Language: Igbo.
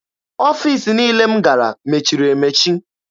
Ọfiisi niile m gara mechiri emechi.